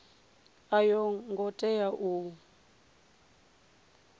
a yo ngo tea u